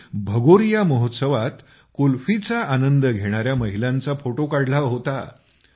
त्यांनी भगोरिया महोत्सवात कुल्फीचा आनंद घेणाऱ्या महिलांचा फोटो काढला होता